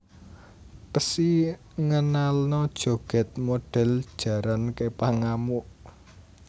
Psy ngenalno joget model jaran kepang ngamuk